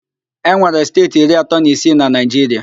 E nwere steeti iri atọ na isii na Naịjiria